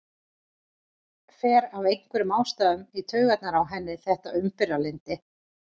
Fer af einhverjum ástæðum í taugarnar á henni þetta umburðarlyndi.